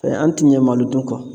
an ti ɲɛ malodun kɔ